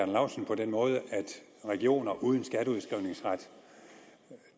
laustsen på den måde at regioner uden skatteudskrivningsret